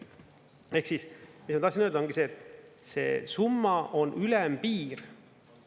Ehk siis mis ma tahtsin öelda, ongi see, et see summa on ülempiir.